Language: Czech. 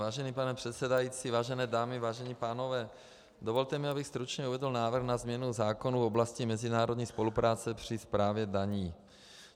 Vážený pane předsedající, vážené dámy, vážení pánové, dovolte mi, abych stručně uvedl návrh na změnu zákona v oblasti mezinárodní spolupráce při správě daní.